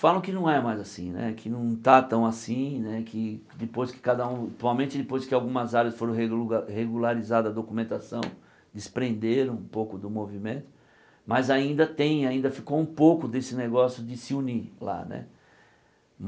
Falam que não é mais assim né, que não está tão assim né, que depois que cada um atualmente depois que algumas áreas foram reluga regularizadas a documentação, desprenderam um pouco do movimento, mas ainda tem, ainda ficou um pouco desse negócio de se unir lá né.